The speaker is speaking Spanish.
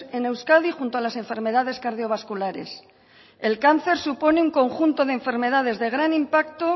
en euskadi junto a las enfermedades cardiovasculares el cáncer supone un conjunto de enfermedades de gran impacto